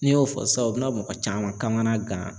N'i y'o fɔ sisan o bi na mɔgɔ caman kamana gan.